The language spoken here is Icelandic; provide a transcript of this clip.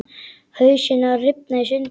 Hausinn að rifna í sundur.